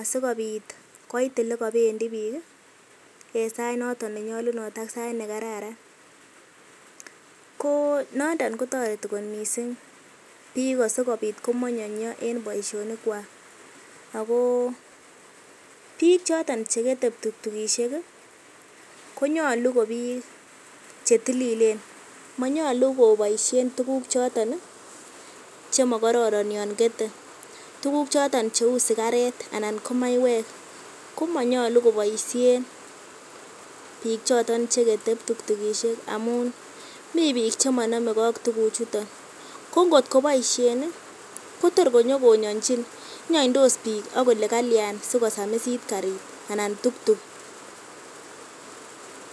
asikobit koit elekobendi biik en sait noton nenyolunot ak sait nekararan, ko nondon kotoreti kot mising biik asikobit komonyonyo en boishonikwak ak ko biik choton chekete ptuktukishek konyolu ko biik chetililen , monyolu koboishen tukuk choton chemokororon yoon kete, tukuk chooton cheuu sikaret anan ko maiwek ko monyolu koboishen biik choton chekete ptuktukishek amun mii biik chemonomeke ak tukuchuton, ko ngot koboishen kotor konyokonyonyinchin, inyonydos biik ak kolee kalyan sikosamisit kariit anan tuktuk.